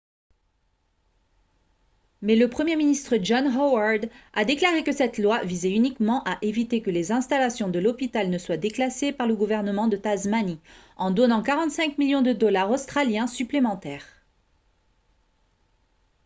mais le premier ministre john howard a déclaré que cette loi visait uniquement à éviter que les installations de l'hôpital ne soient déclassées par le gouvernement de tasmanie en donnant 45 millions de dollars australiens supplémentaires